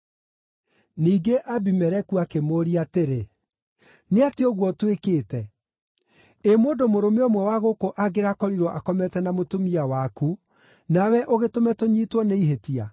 Ningĩ Abimeleku akĩmũũria atĩrĩ, “Nĩ atĩa ũguo ũtwĩkĩte? Ĩ mũndũ mũrũme ũmwe wa gũkũ angĩrakorirwo akomete na mũtumia waku, nawe ũgĩtũme tũnyiitwo nĩ ihĩtia?”